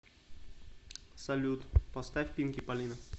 салют поставь пинки палина